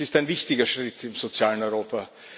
Es ist ein wichtiger Schritt im sozialen Europa.